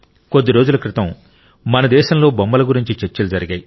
కొద్ది రోజుల క్రితం మన దేశంలో బొమ్మల గురించి చర్చలు జరిగాయి